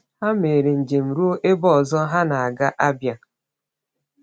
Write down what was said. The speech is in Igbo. Ha mere njem ruo ebe ọzọ ha na-aga — Abia.